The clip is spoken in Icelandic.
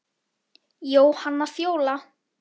Jóhanna Fjóla.